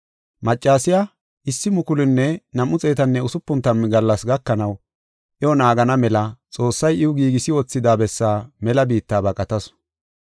Maccasiya 1,260 gallas gakanaw iyo naagana mela Xoossay iw giigisi wothida bessaa mela biitta baqatasu.